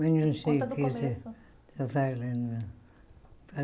Mas não sei o que Conta do começo Você está falando.